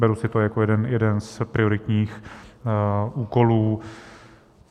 Beru si to jako jeden z prioritních úkolů.